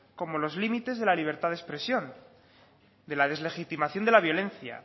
como los límites de la libertad de expresión de la deslegitimación de la violencia